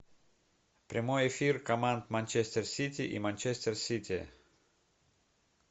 прямой эфир команд манчестер сити и манчестер сити